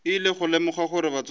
ile go lemoga gore batswadi